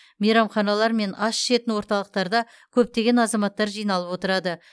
мейрамханалар мен ас ішетін орталықтарда көптеген азаматтар жиналып отырады